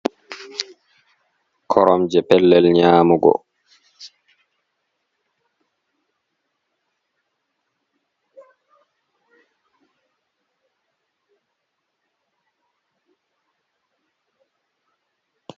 Korom je pellel nyamugo.